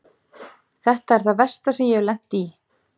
Þetta er það versta sem ég hef lent í.